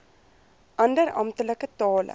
ander amptelike tale